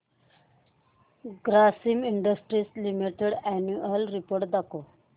Grasim industries limited annual report दाखव